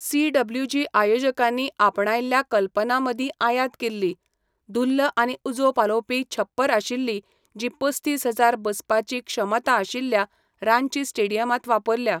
CWG आयोजकांनी आपणायल्ल्या कल्पनां मदीं आयात केल्ली, धुल्ल आनी उजो पालोवपी छप्पर आशिल्ली जी पस्तीस हजार बसपाची क्षमता आशिल्ल्या रांची स्टेडियमांत वापरल्या.